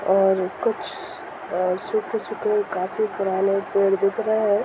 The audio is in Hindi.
और कुछ और सूखे-सूखे काफी पुराने पेड़ दिख रहे हैं।